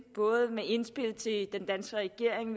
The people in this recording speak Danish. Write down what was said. både med indspil til den danske regering